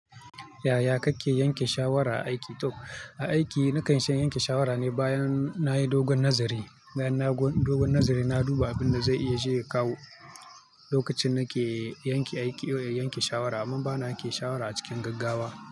Yaya kake yanke shawara aiki? To a aiki na kan yi shan yanke shawara ne bayan na yi dogon nazari. Bayan dogon nazari, na duba abin da zai iya je ya kawo lokacin nake yanke aiki, yanke shawara. Amma bana yanke shawara a cikin gaggawa.